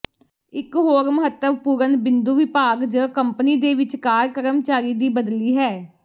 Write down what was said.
ਇੱਕ ਹੋਰ ਮਹੱਤਵਪੂਰਨ ਬਿੰਦੂ ਵਿਭਾਗ ਜ ਕੰਪਨੀ ਦੇ ਵਿਚਕਾਰ ਕਰਮਚਾਰੀ ਦੀ ਬਦਲੀ ਹੈ